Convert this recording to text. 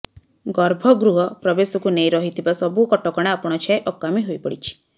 ଗର୍ଭଗୃହ ପ୍ରବେଶକୁ ନେଇ ରହିଥିବା ସବୁ କଟକଣା ଆପଣାଛାଏଁ ଅକାମୀ ହୋଇପଡିଛି